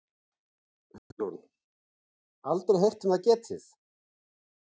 Hugrún: Aldrei heyrt um það getið?